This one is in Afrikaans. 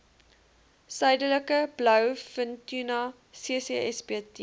suidelike blouvintuna ccsbt